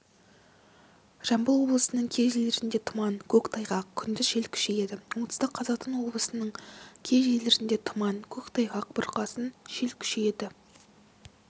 жамбыл облысының кей жерлерінде тұман көктайғақ күндіз жел күшейеді оңтүстік қазақстан облысының кей жерлерінде тұман көктайғақ бұрқасын жел күшейеді